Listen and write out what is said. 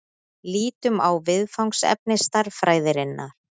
Lítum á viðfangsefni stærðfræðinnar.